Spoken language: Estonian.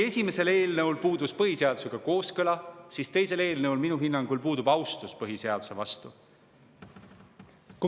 Esimesel eelnõul puudus kooskõla põhiseadusega, aga teise eelnõu puhul puudub minu hinnangul austus põhiseaduse vastu.